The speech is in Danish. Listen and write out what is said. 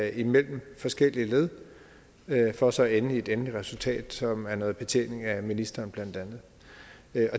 imellem forskellige led for så at ende i et endeligt resultat som er noget betjening af ministeren blandt andet